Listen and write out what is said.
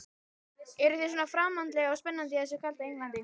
Eruð þið svona framandleg og spennandi í þessu kalda Englandi?